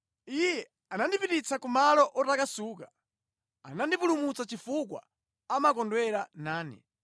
Iye anandipititsa kumalo otakasuka; anandipulumutsa chifukwa amakondwera nane.